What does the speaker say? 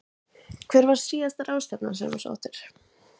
Hver var síðasta ráðstefnan sem þú sóttir?